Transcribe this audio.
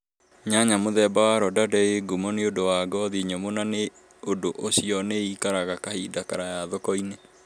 Nyanya mũthemba wa Rondande ĩ ngũmo nĩũndu wa ngothi nyũmũ na na nĩ ũndũ ũcio nĩ ĩikaraga kahinda karaya thoko-inĩ .